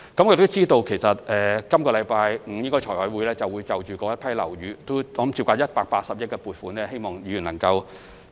我們知道，財務委員會將於本周五審議涉及該批樓宇的180億元撥款申請，希望議員能夠支持。